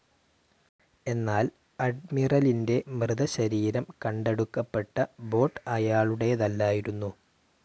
എന്നാൽ അഡ്മിറലിൻറെ മൃതശരീരംകണ്ടെടുക്കപ്പെട്ട ബോട്ട്‌ അയാളുടേതല്ലായിരുന്നു.